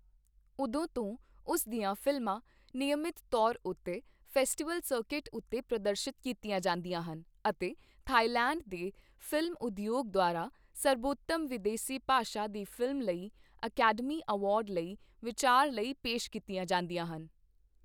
ਉਦੋਂ ਤੋਂ, ਉਸ ਦੀਆਂ ਫ਼ਿਲਮਾਂ ਨਿਯਮਿਤ ਤੌਰ ਉੱਤੇ ਫੈਸਟੀਵਲ ਸਰਕਟ ਉੱਤੇ ਪ੍ਰਦਰਸ਼ਿਤ ਕੀਤੀਆਂ ਜਾਂਦੀਆਂ ਹਨ ਅਤੇ ਥਾਈਲੈਂਡ ਦੇ ਫ਼ਿਲਮ ਉਦਯੋਗ ਦੁਆਰਾ ਸਰਬੋਤਮ ਵਿਦੇਸੀ ਭਾਸ਼ਾ ਦੀ ਫ਼ਿਲਮ ਲਈ ਅਕੈਡਮੀ ਅਵਾਰਡ ਲਈ ਵਿਚਾਰ ਲਈ ਪੇਸ਼ ਕੀਤੀਆਂ ਜਾਂਦੀਆਂ ਹਨ।